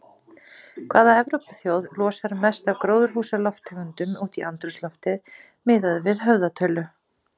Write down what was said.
Hvaða Evrópuþjóð losar mest af gróðurhúsalofttegundum út í andrúmsloftið miðað við höfðatölu?